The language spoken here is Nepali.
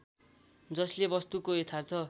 जसले वस्तुको यथार्थ